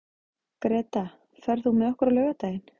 Greta, ferð þú með okkur á laugardaginn?